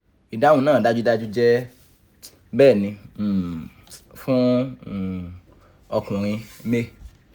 4] idahun naa dajudaju jẹ bẹni um fun um ọkunrin may